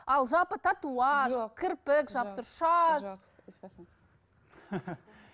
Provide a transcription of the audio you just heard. ал жалпы татуаж кірпік жапсыру шаш